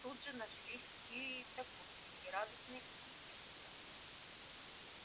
тут же нашлись и сокурсники радостные и искренние